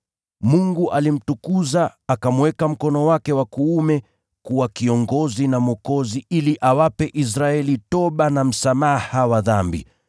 Mungu alimtukuza, akamweka mkono wake wa kuume kuwa Kiongozi na Mwokozi ili awape Israeli toba na msamaha wa dhambi.